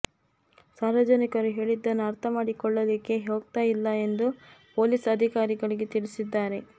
ಸಾರ್ವಜನಿಕರು ಹೇಳಿದ್ದನ್ನು ಅರ್ಥಮಾಡಿಕೊಳ್ಳಲಿಕ್ಕೆ ಹೋಗ್ತಾ ಇಲ್ಲ ಎಂದು ಪೊಲೀಸ್ ಅಧಿಕಾರಿಗಳಿಗೆ ತಿಳಿಸಿದ್ದಾರೆ